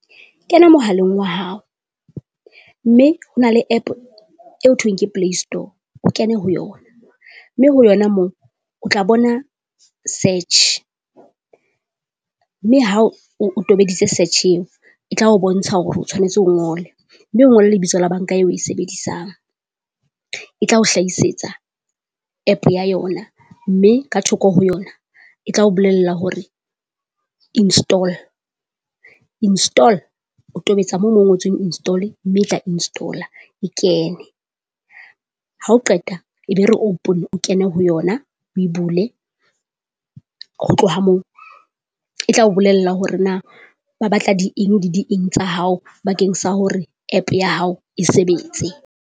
Kena mohaleng wa hao, mme hona le App eo hothoeng ke Play Store o kene ho yona, mme ho yona moo o tla bona search. Mme ha o tobeditse search-e eo e tla o bontsha hore o tshwanetse o ngole, mme o ngole lebitso la banka eo e sebedisang. E tla o hlahisetsa App ya yona mme ka thoko ho yona e tla o bolella hore install install. O tobetsa moo mo ngotsweng install mme e tla install-a kene. Ha o qeta e be re open, o kene ho yona o bule, ho tloha moo e tlao bolella hore na ba batla di eng le di eng tsa hao bakeng sa hore App ya hao e sebetse.